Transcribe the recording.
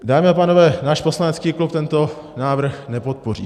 Dámy a pánové, náš poslanecký klub tento návrh nepodpoří.